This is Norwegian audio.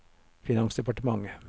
finansdepartementet